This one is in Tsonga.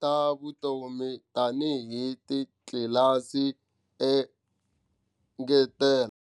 ta vona tanihi titlilasi to engetela.